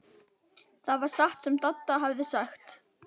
Það var satt sem Dadda hafði sagt.